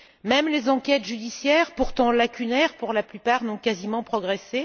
même les enquêtes judiciaires, pourtant lacunaires pour la plupart, n'ont quasiment pas progressé.